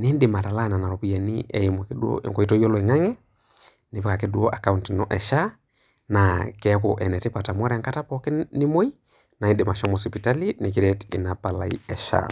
nindim atalaa nena ropiyiani eimu enkoitoi oloingange, Nipik ake duo akaunt ino e SHA naa keaku enetipata amu ore enkata pooki nimoi naa indim ashomo sipitali nikiret inapalai e SHA